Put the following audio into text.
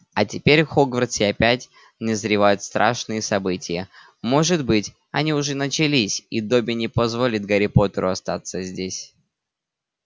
а теперь в хогвартсе опять назревают страшные события может быть они уже начались и добби не позволит гарри поттеру остаться здесь